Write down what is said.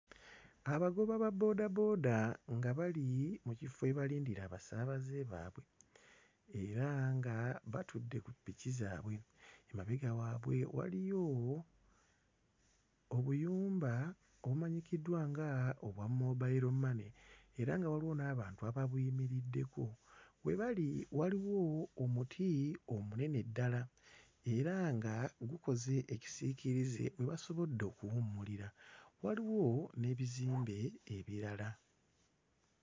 Abagoba ba boodabooda nga bali mu kifo we balindira abasaabaze baabwe era nga batudde ku ppiki zaabwe. Emabega waabwe waliyo obuyumba obumanyikiddwa nga obwa Mobile Money era nga waliwo n'abantu ababuyimiriddeko. We bali waliwo omuti omunene ddala era nga gukoze ekisiikirize we basobodde okuwummulira. Waliwo n'ebizimbe ebirala.